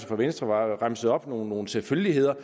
fra venstre remsede nogle selvfølgeligheder